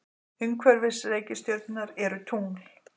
Umhverfis reikistjörnurnar eru tungl.